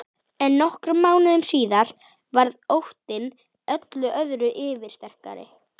En nokkrum mánuðum síðar varð óttinn öllu öðru yfirsterkari.